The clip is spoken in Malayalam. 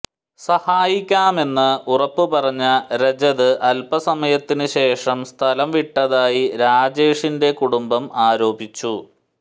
സഹായിക്കാമെന്ന് ഉറപ്പുപറഞ്ഞ രജത് അല്പസമയത്തിന് ശേഷം സ്ഥലം വിട്ടതായി രാജേഷിന്റെ കുടുംബം ആരോപിച്ചു